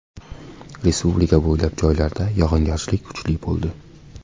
Respublika bo‘ylab joylarda yog‘ingarchilik kuchli bo‘ldi.